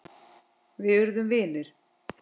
Við urðum vinir.